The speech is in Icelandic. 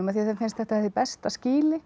þeim finnst þetta hið besta skýli